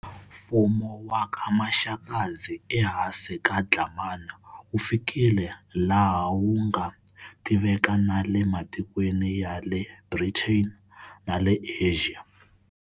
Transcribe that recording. Mfumu wa ka Maxakadzi e hansi ka Dlhamani wu fikile laha wu nga tiveka na le matikweni ya le Britain na le Asia.